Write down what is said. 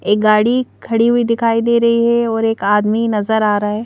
एक गाड़ी खड़ी हुई दिखाई दे रही है और एक आदमी नजर आ रहा है।